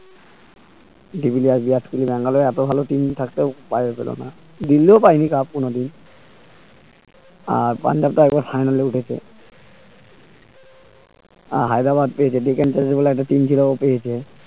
de Villiers Virat Kohli Bangalore এত ভালো team থাকতেও দিল্লীও পাইনি cup কোনদিন আর পাঞ্জাব তো একবার final এ উঠেছে আহ হায়দ্রাবাদ যে ডেকেনচার্জর বলে একটা team ছিলো ওতেই হয়েছে